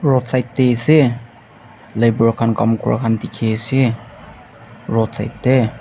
roadside teh ase labour khan kaam kora khan dikhi ase roadside teh.